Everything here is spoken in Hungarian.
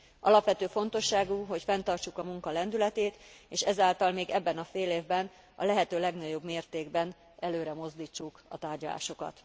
Alapvető fontosságú, hogy fenntartsuk a munka lendületét, és ezáltal még ebben a félévben a lehető legnagyobb mértékben előre mozdítsuk a tárgyalásokat.